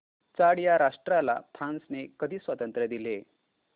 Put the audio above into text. Chad या राष्ट्राला फ्रांसने कधी स्वातंत्र्य दिले